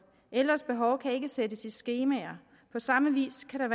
ældres behov kan ikke sættes i skemaer på samme vis kan